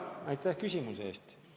Aitäh küsimuse eest!